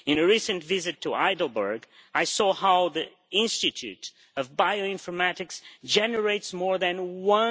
In a recent visit to Heidelberg I saw how the Institute of Bioinformatics generates more than EUR